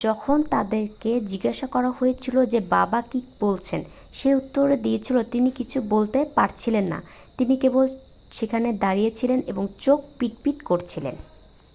"যখন তাঁকে জিজ্ঞাসা করা হয়েছিল যে বাবা কী বলেছেন, সে উত্তর দিয়েছিল "তিনি কিছু বলতে পারছিলেন না - তিনি কেবল সেখানে দাঁড়িয়েছিলেন এবং চোখ পিট পিট করছিলেন।""